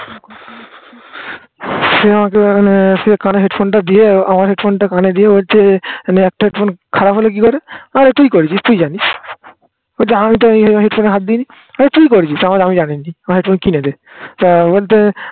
সে আমাকে মানে সে কানে headphone টা দিয়ে আমার headphone টা কানে দিয়ে হচ্ছে. মানে একটা headphone খারাপ হল কি করে? আরে তুই করেছিস তুই জানিস বলছে আমি তো এই headphone এ হাত দিইনি বলে তুই করেছিস? আমি জানি না আমার headphone কিনে দে তা বলছে